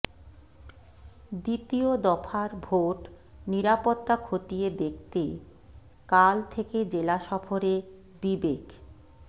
দ্বিতীয় দফার ভোট নিরাপত্তা খতিয়ে দেখতে কাল থেকে জেলা সফরে বিবেক